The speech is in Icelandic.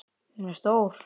Hún er stór.